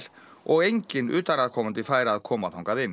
og enginn utanaðkomandi fær að koma þangað inn